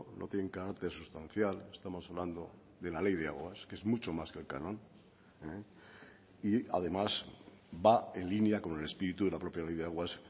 no tienen carácter sustancial estamos hablando de la ley de aguas que es mucho más que el canon y además va en línea con el espíritu de la propia ley de aguas